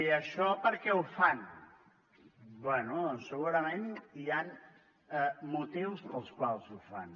i això per què ho fan bé segurament hi han motius pels quals ho fan